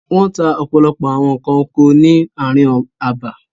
Wọ́n ta ọ̀pọ̀lọpọ̀ àwọn nǹkan oko ni ààrin abà.